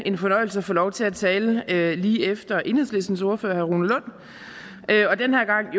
en fornøjelse at få lov til at tale lige efter enhedslistens ordfører herre rune lund og den her gang